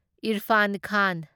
Irfan Khan